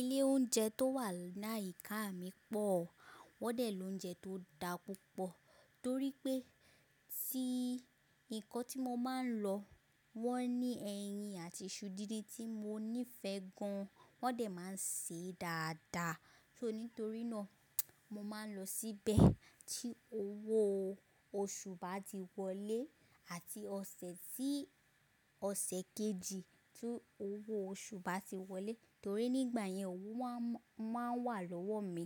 Ilé oúnjẹ tó wà láyìíkáà mi pọ̀, wọ́n dẹ̀ lóúnjẹ tó da púpọ̀ torí pé tí nǹkan tí mo máa ń lọ, wọ́n ní ẹyin àti iṣu díndín tí mo nífẹ̀ẹ́ gan, wọ́n dẹ̀ máa ń sè é dáadáa. So nítorí náà mo máa ń lọ síbẹ̀ tí owó oṣù bá ti wọlé àti ọ̀sẹ̀ tí ọ̀sẹ̀ kejì tí owó oṣù bá ti wọlé torí nígbà yẹn owó máa ń wà lọ́wọ́ mi.